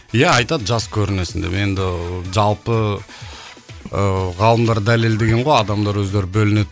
иә айтады жас көрінесің деп енді жалпы ыыы ғалымдар дәлелдеген ғой адамдар өздері бөлінеді